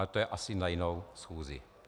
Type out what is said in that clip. Ale to je asi na jinou schůzi.